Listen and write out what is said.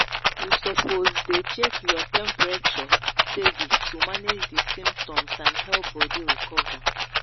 you suppose dey check your temperature steady to manage di symptoms and help body recover